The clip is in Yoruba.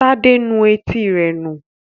Tade nù Etí rẹ nu.